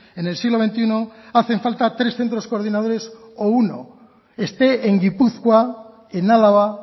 en el siglo veintiuno hacen falta tres centros coordinadores o uno esté en gipuzkoa en álava